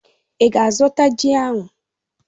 Í ga-azụta ji ahụ?